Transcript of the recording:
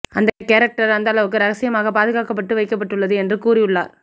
அந்த கேரக்டர் அந்த அளவுக்கு ரகசியமாக பாதுகாக்கப்பட்டு வைக்கப்பட்டுள்ளது என்று கூறியுள்ளார்